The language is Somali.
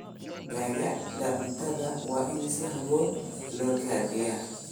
Dalagga cuntada waa in si habboon loo kaydiyaa.